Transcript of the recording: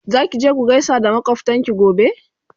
Zaki je ku gaisa makwaftanki gobe?